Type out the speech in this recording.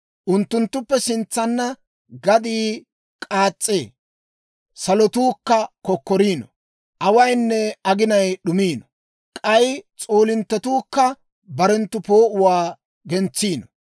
Unttunttuppe sintsanna gaddii k'aas's'ee; salotuukka kokkoriino. Awaynne aginay d'umiino; k'ay s'oolinttetuukka barenttu poo'uwaa gentsiino.